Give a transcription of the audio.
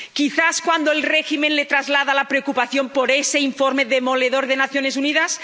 ¿Quizás cuando el régimen le traslada la preocupación por ese informe demoledor de las Naciones Unidas?